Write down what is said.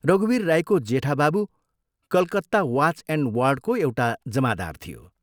रघुवीर राईको जेठा बाबु कलकत्ता वाच एण्ड वार्डको एउटा जमादार थियो।